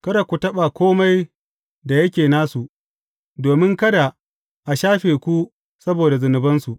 Kada ku taɓa kome da yake nasu, domin kada a shafe ku saboda zunubansu.